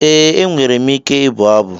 Ee, enwere m ike ịbụ abụ.